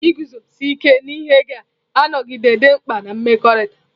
Iguzosi ike n'ihe ga-anọgide dị mkpa na mmekọrịta.